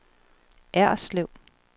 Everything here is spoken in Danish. Erslev